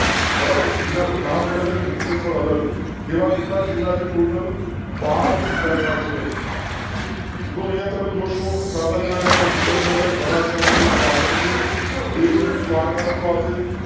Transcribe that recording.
બરાબર જિલ્લા નું નામ અલગ મુખ્ય સ્થળ અલગ એવા કેટલાય જિલ્લા છે. ટોટલ બાર જિલ્લા એવા છે. તો અહિયાં તમે જોશો સાબરકાંઠા તો હિંમતનગર બનાસકાંઠા તો પાલનપુર દેવ ભૂમિ દ્વારકા તો આવતો